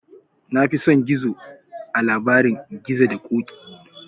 Na fi son gizo a labarin gizo da ƙoƙi